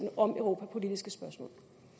europapolitiske spørgsmål